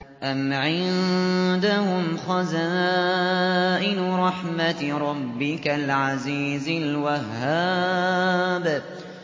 أَمْ عِندَهُمْ خَزَائِنُ رَحْمَةِ رَبِّكَ الْعَزِيزِ الْوَهَّابِ